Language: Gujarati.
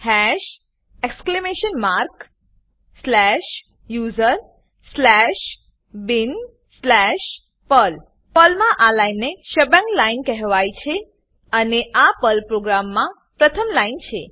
હાશ exclamation mark slash USR slash bin slash Perl Perl મા આ લાઈન ને શેબાંગ શબંગ લાઈન કહેવાય છેઅને આ પર્લ પ્રોગ્રામમા પ્રથમ લાઈન છે